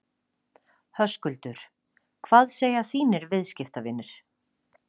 Höskuldur: Hvað segja þínir viðskiptavinir?